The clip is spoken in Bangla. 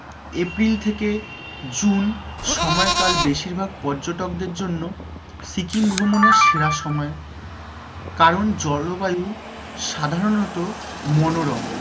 april থেকে june সময় কাল বেশিরভাগ পর্যটকদের জন্য সিকিম ভ্রমণের সেরা সময় কারণ জলবায়ু সাধারণত মনোরম,